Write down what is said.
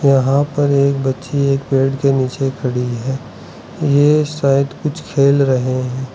यहां पर एक बच्ची एक पेड़ के नीचे खड़ी है ये शायद कुछ खेल रहे हैं।